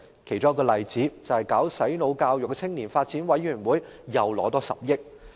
其中一個例子是，搞"洗腦"教育的青年發展委員會又獲撥款10億元。